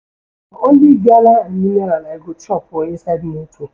Na only gala and mineral I go chop for inside motor.